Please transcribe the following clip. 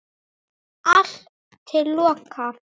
Allt til loka.